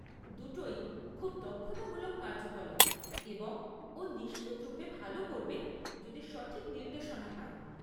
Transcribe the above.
দুটোই খুব দক্ষতামূলক কার্যকলাপ এবং ও নিশ্চিতরূপে ভালো করবে যদি সঠিক নির্দেশনা পায়।